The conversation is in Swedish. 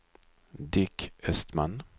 Dick Östman